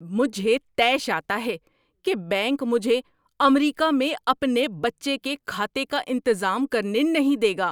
مجھے طیش آتا ہے کہ بینک مجھے امریکہ میں اپنے بچے کے کھاتے کا انتظام کرنے نہیں دے گا۔